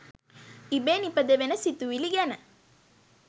ඉබේ නිපදවෙන සිතුවිලි ගැන